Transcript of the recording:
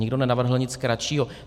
Nikdo nenavrhl nic kratšího.